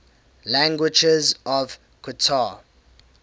languages of qatar